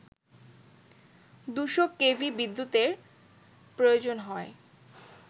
২শ KV বিদ্যুতের প্রয়োজন হয়